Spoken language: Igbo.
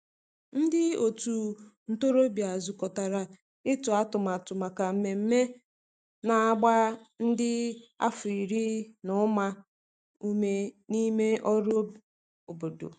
ndi otu ntorobia zukotara itu atụmatụ maka mmeme na agba ndi n'afo iri na uma ume n'ime ọrụ obodo.